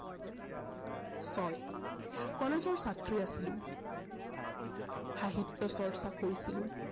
হয়। কলেজৰ ছাত্ৰী আছিলো সাহিত্য চৰ্চা কৰিছিলো।